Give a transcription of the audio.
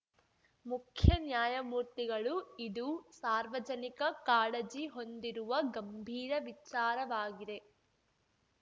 ಮುಖ್ಯನ್ಯಾಯಮೂರ್ತಿಗಳು ಇದು ಸಾರ್ವಜನಿಕ ಕಾಳಜಿ ಹೊಂದಿರುವ ಗಂಭೀರ ವಿಚಾರವಾಗಿದೆ